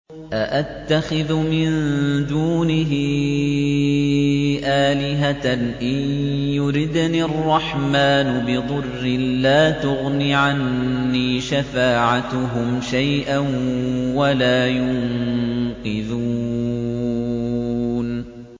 أَأَتَّخِذُ مِن دُونِهِ آلِهَةً إِن يُرِدْنِ الرَّحْمَٰنُ بِضُرٍّ لَّا تُغْنِ عَنِّي شَفَاعَتُهُمْ شَيْئًا وَلَا يُنقِذُونِ